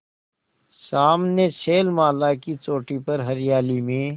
सामने शैलमाला की चोटी पर हरियाली में